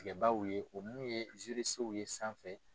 tigɛbaaw ye o mun ye ye sanfɛ.